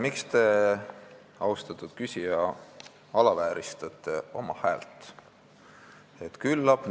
Miks te, austatud küsija, alavääristate oma häält?